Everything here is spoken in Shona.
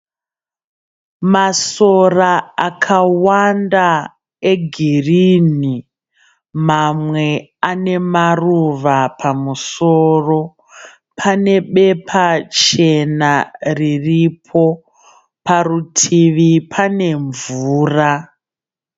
Masora akawanda egirini mamwe ane maruva pamusoro pane bepa chena riripo parutivi pane mvura.